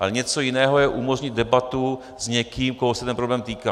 Ale něco jiného je umožnit debatu s někým, koho se ten problém týká.